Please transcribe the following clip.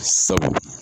Sabu